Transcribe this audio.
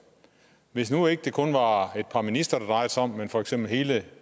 hvis nu det ikke kun var et par ministre det drejede sig om men for eksempel hele